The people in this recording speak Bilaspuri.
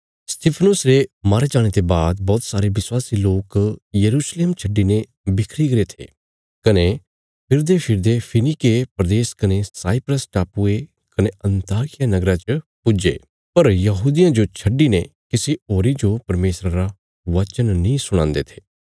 स्तिफनुस रे मारे जाणे ते बाद बौहत सारे विश्वासी लोक यरूशलेम छड्डिने बिखरी गरे थे कने फिरदेफिरदे फीनीके प्रदेश कने साइप्रस टापुये कने अन्ताकिया नगरा च पुज्जे पर यहूदियां जो छड्डिने किसी होरी जो परमेशरा रा वचन नीं सुणांदे थे